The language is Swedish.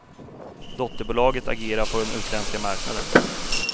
Dotterbolaget agerar på den utländska marknaden.